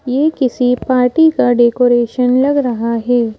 यह किसी पार्टी का डेकोरेशन लग रहा है।